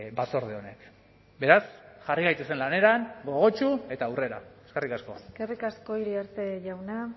batzorde honek beraz jarri gaitezen lanean gogotsu eta aurrera eskerrik asko eskerrik asko iriarte jauna